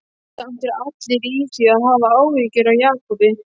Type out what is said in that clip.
Samt eru allir í því að hafa áhyggjur af Jakobi.